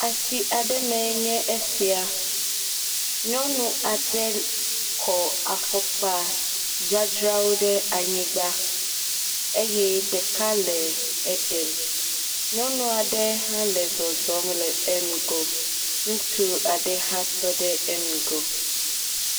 Asi aɖe mee nye esia. Nyɔnu aɖe kɔ afɔkpa dzadzrawo ɖe anyigba eye ɖeka le ɖem. Nyɔnua ɖe hã le zɔzɔm le ŋgɔ. Ŋutsu aɖe hã tɔ ɖe ŋgɔ.